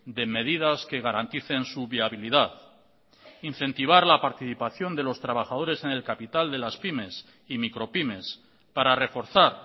de medidas que garanticen su viabilidad incentivar la participación de los trabajadores en el capital de la pymes y micropymes para reforzar